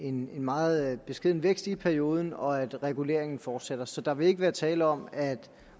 en meget beskeden vækst i perioden og at reguleringen fortsætter så der vil ikke være tale om at